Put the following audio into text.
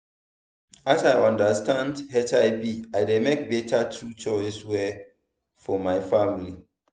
as i understand hiv i dey make better true choice well for my family